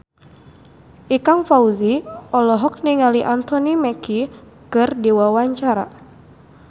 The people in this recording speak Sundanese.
Ikang Fawzi olohok ningali Anthony Mackie keur diwawancara